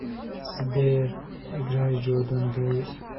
сбер играй джордан дэвис